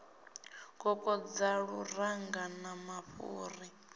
kokodza luranga na mafhuri a